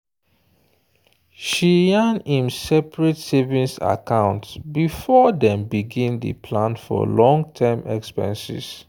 she yan im seperate savings account before dem begin day plan for long term expenses.